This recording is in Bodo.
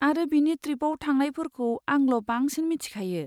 आरो बिनि ट्रिपआव थांनायफोरखौ आंल' बांसिन मिथिखायो।